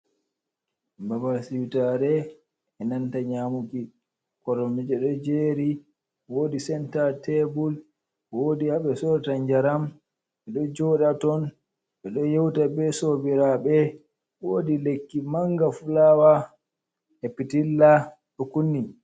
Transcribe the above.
Babal siwtaare e nanta nyaamuki. Koromje ɗo jeeri, wodi senta tebul, woodi haɓe sorata njaram. Ɓe ɗo jooɗa ton, ɓe ɗo yewta be sobiraaɓe, woodi lekki manga fulaawa, e pitilla ɗo kunni.